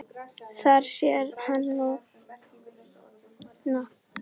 Það sér hann núna.